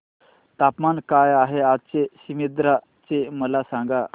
तापमान काय आहे आज सीमांध्र चे मला सांगा